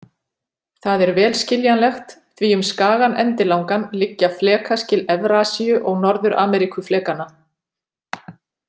Það er vel skiljanlegt því um skagann endilangan liggja flekaskil Evrasíu- og Norður-Ameríkuflekanna.